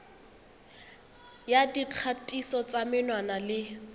ya dikgatiso tsa menwana le